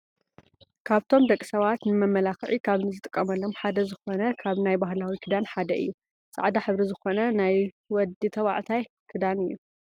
ካብቶም ደቂ ሰባት ነመመላክዒ ካብ ዝጥቀምሎም ሓደ ዝኮነ ካብ ናይ ባህላዊ ክዳን ሓደ እዩ። ፃዕዳ ሕብሪ ዝኮነ ናይ ደዊ ተባዕታይ ክዳን እዩ።